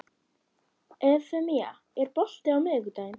Evfemía, er bolti á miðvikudaginn?